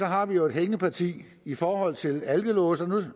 har vi jo et hængeparti i forhold til alkolåse nu